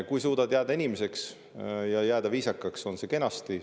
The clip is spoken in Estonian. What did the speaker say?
Kui suudad jääda inimeseks ja jääda viisakaks, siis on kenasti.